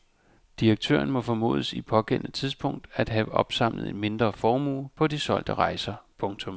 Direktøren må formodes i pågældende tidspunkt at have opsamlet en mindre formue på de solgte rejser. punktum